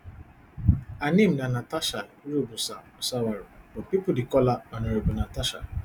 her name na natasha irobosa osawaru but pipo dey call her honourable natasha